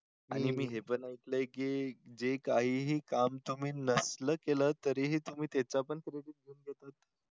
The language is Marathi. आणि मी हे पण ऐकलंय की जे काहीही काम तुम्ही नसलं केलं तरीही तुम्ही त्याचापण क्रेडिट